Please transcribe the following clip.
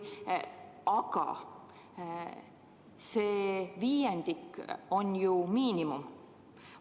Aga see viiendik on ju miinimum.